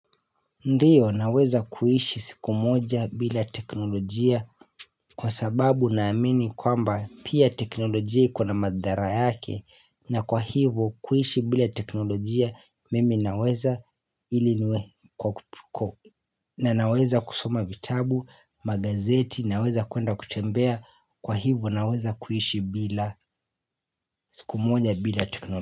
Ndiyo naweza kuhishi siku moja bila teknolojia kwa sababu naamini kwamba pia teknolojia ikona madhara yake na kwa hivu kuhishi bila teknolojia mimi naweza ili niwe kwa kupiko na naweza kusuma vitabu magazeti naweza kuenda kutembea kwa hivu naweza kuhishi bila siku moja bila teknolojia.